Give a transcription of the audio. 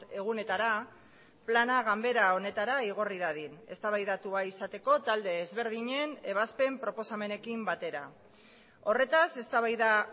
egunetara plana ganbera honetara igorri dadin eztabaidatua izateko talde ezberdinen ebazpen proposamenekin batera horretaz eztabaida